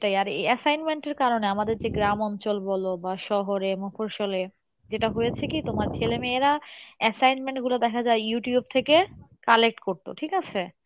এই assignment এর কারনে আমাদের যে গ্রাম অঞ্চল বলো, বা শহরে যেটা হয়েছে কী তোমার ছেলে মেয়েরা assignment গুলো দেখা যাই Youtube থেকে collect করতো ঠিক আছে?